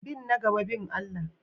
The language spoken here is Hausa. Bin na gaba bin Allah.